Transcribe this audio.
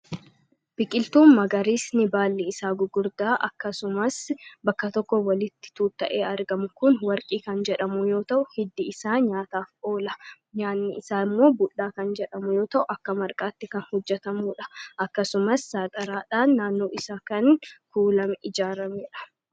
biqiltuun magaris ni baalli isaa gugurdaa akkasumas bakka tokko walitti tuuta'ee argamu kun warqii kan jedhamu yoo ta'u hiddi isaa nyaataaf oola nyaanni isaa immoo budhaa kan jedhamu yoo ta'u akka marqaatti kan hojjetamuudha akkasumas saaxaraadhaan naannoo isaa kan kuulame ijaarameidha